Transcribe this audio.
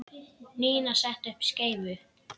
Nína setti upp skeifu.